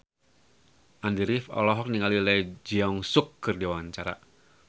Andy rif olohok ningali Lee Jeong Suk keur diwawancara